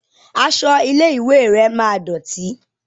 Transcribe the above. Aṣọ ilé ìwé rẹ máa dọ̀tì.